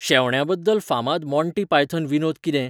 शेवण्बयाद्दल फामाद Monty Python विनोद कितें?